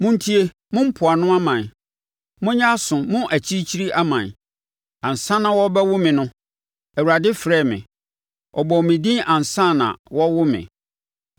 Montie me, mo mpoano aman; monyɛ aso mo akyirikyiri aman ansa na wɔrebɛwo me no, Awurade frɛɛ me ɔbɔɔ me din ansa na wɔrewo me.